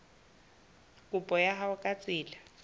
kopo ya hao ka tsela